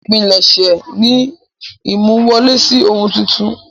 Ìpilẹ̀ṣẹ̀ ni ìmú wọlé sí ohun tuntun.